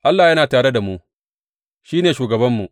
Allah yana tare da mu; shi ne shugabanmu.